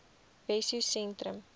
wessosentrum